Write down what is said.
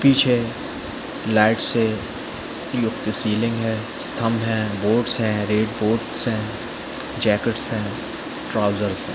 --पीछे लाइट से क्लॉक ती सीलिंग है अस्थम है बोर्ड्स रेड बोर्ड्स है जैकेट्स है ट्राउज़र्स है।